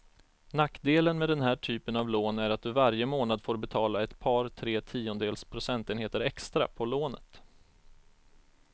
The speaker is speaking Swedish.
Nackdelen med den här typen av lån är att du varje månad får betala ett par, tre tiondels procentenheter extra på lånet.